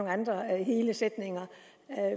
andre hele sætninger